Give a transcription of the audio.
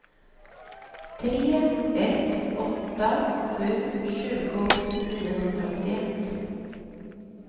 tre ett åtta sju tjugo niohundraåttioett